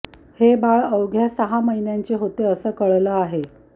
हे बाळ अवघ्या सहा महिन्यांचे होते असं कळालं आहे